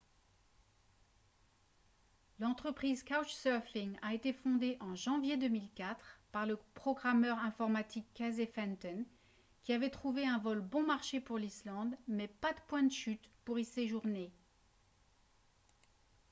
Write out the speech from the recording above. l'entreprise couchsurfing a été fondée en janvier 2004 par le programmeur informatique casey fenton qui avait trouvé un vol bon marché pour l'islande mais pas de point de chute pour y séjourner